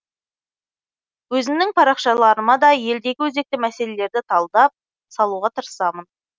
өзімнің парақшаларыма да елдегі өзекті мәселелерді талдап салуға тырысамын